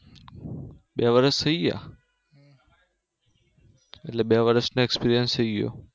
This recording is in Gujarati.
બે વર્ષ થયી ગયા